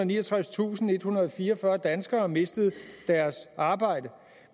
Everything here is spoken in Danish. niogtredstusindethundrede og fireogfyrre danskere mistet deres arbejde